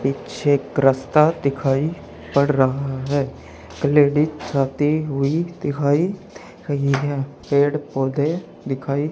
पीछे एक रास्ता दिखाई पड़ रहा है लेडिस हुई दिखाई दे रही है पेड़ पौधे दिखाई --